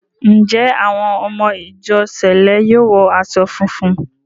Ǹjẹ́ àwọn ọmọ ìjọ sẹ̀lẹ́ yóò wọ aṣọ funfun?